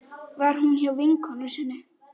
Var hún hjá vinkonu sinni?